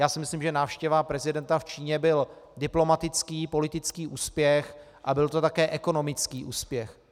Já si myslím, že návštěva prezidenta v Číně byl diplomatický politický úspěch a byl to také ekonomický úspěch.